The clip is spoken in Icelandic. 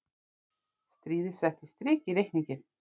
Stríðið setti strik í reikninginn.